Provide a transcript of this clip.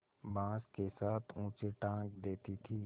बाँस के साथ ऊँचे टाँग देती थी